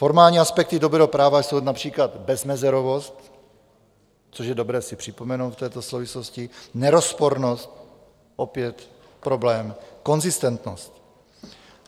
Formální aspekty dobrého práva jsou například bezmezerovost, což je dobré si připomenout v této souvislosti, nerozpornost, opět problém, konzistentnost.